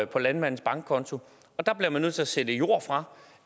på landmandens bankkonto og der bliver man nødt til at sælge jord fra